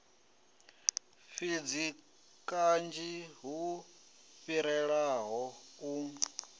fhidzi kanzhi hu fhirelaho u